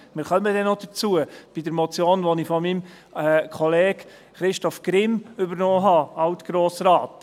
Wir kommen bei der Motion, die ich von meinem Kollegen, Altgrossrat Christoph Grimm, übernommen habe , darauf zurück.